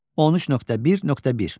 13.1.1.